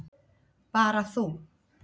Bara þú.